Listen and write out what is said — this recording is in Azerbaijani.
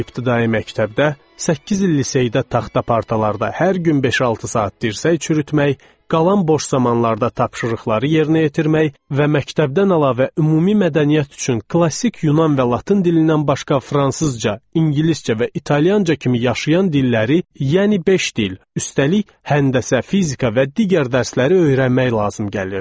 Beş il ibtidai məktəbdə, səkkiz il liseydə taxta partalarda hər gün beş-altı saat dirsək çürütmək, qalan boş zamanlarda tapşırıqları yerinə yetirmək və məktəbdən əlavə ümumi mədəniyyət üçün klassik Yunan və Latın dilindən başqa fransızca, ingiliscə və italyanca kimi yaşayan dilləri, yəni beş dil, üstəlik həndəsə, fizika və digər dərsləri öyrənmək lazım gəlirdi.